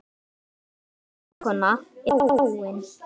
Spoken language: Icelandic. Mín besta vinkona er dáin.